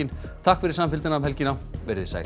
takk fyrir samfylgdina um helgina verið þið sæl